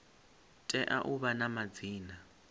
tea u vha na madzina